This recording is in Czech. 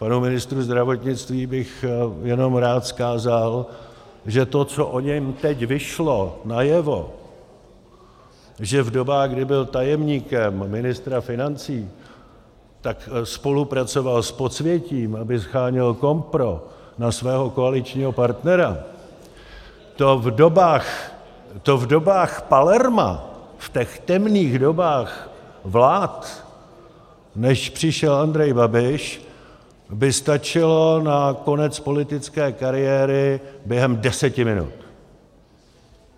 Panu ministru zdravotnictví bych jenom rád vzkázal, že to, co o něm teď vyšlo najevo, že v dobách, kdy byl tajemníkem ministra financí, tak spolupracoval s podsvětím, aby sháněl kompro na svého koaličního partnera, to v dobách Palerma, v těch temných dobách vlád, než přišel Andrej Babiš, by stačilo na konec politické kariéry během deseti minut.